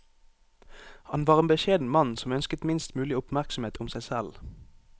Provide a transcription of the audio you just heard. Han var en beskjeden mann som ønsket minst mulig oppmerksomhet om seg selv.